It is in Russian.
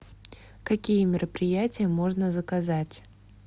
какие мероприятия можно заказать